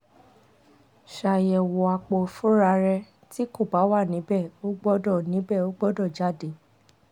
ṣayẹwo apo-ifunra rẹ ti ko ba wa nibẹ o gbọdọ nibẹ o gbọdọ jade